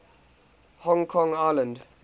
hong kong island